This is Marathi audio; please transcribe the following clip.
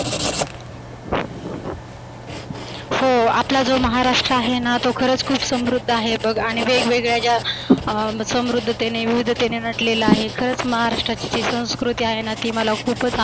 हो आपला जो महाराष्ट्र जो आहेना तो खरंचर खुप समृद्ध आहे बघ. आणि वेगवेगळ्या ज्या अं समृद्धतेने विवीधतेने नटलेला आहे खरच महाराष्ट्राची जी संस्कृती आहे ना ती मला खुपच